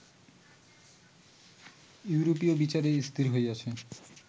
ইউরোপীয় বিচারে স্থির হইয়াছে